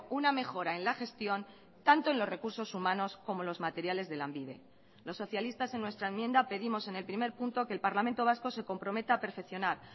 una mejora en la gestión tanto en los recursos humanos como los materiales de lanbide los socialistas en nuestra enmienda pedimos en el primer punto que el parlamento vasco se comprometa a perfeccionar